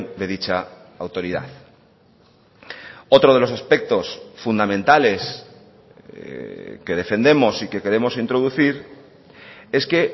de dicha autoridad otro de los aspectos fundamentales que defendemos y que queremos introducir es que